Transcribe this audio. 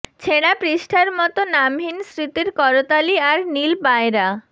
ছেঁড়া পৃষ্ঠার মতো নামহীন স্মৃতির করতালি আর নীল পায়রা